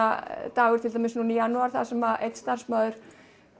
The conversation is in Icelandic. dagur í janúar þar sem starfsmaður